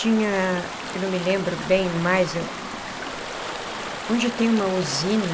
Tinha, não me lembro bem mais, onde tem uma usina,